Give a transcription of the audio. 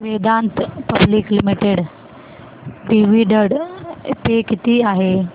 Vedanta public limited dividend pay किती आहे